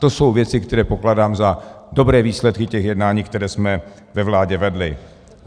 To jsou věci, které pokládám za dobré výsledky těch jednání, které jsme ve vládě vedli.